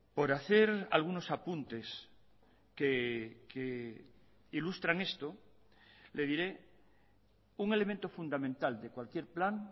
por hacer algunos apuntes que ilustran esto le diré un elemento fundamental de cualquier plan